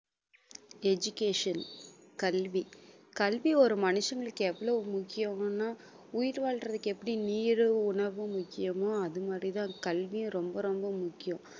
education கல்வி கல்வி ஒரு மனுஷங்களுக்கு எவ்வளவு முக்கியம்னா உயிர் வாழ்றதுக்கு எப்படி நீரும் உணவும் முக்கியமோ அது மாதிரி தான் கல்வியும் ரொம்ப ரொம்ப முக்கியம்